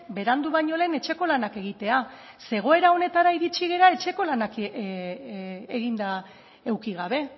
berandu baino lehen etxeko lanak egitea ze egoera honetara iritsi gara etxeko lanak eginda eduki gabe